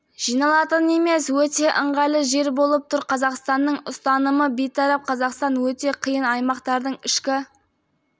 жиналатын емес өте ыңғайлы жер болып тұр қазақстанның ұстанымы бейтарап қазақстан өте қиын аймақтардың ішкі